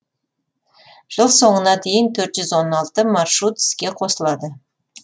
жыл соңына дейін төрт жүз он алты маршрут іске қосылады